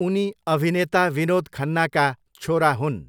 उनी अभिनेता विनोद खन्नाका छोरा हुन्।